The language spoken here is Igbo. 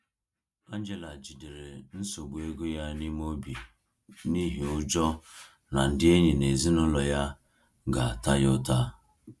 Angela jidere nsogbu ego ya n’ime obi n’ihi ụjọ na ndị enyi na ezinụlọ ya ga-ata ya ụta.